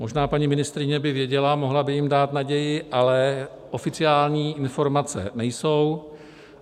Možná paní ministryně by věděla, mohla by jim dát naději, ale oficiální informace nejsou.